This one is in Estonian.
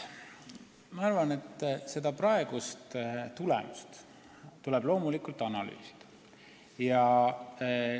Ma arvan, et praegusi tulemusi tuleb loomulikult analüüsida.